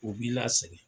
U b'i lasɛgɛn